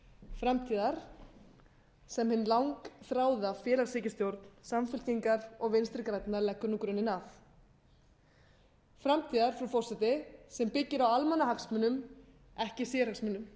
framtíðar sem hin langþráða félagshyggjustjórn samfylkingar og vinstri grænna leggur nú grunninn að framtíðar frú forseti sem byggir á almannahagsmunum ekki sérhagsmunum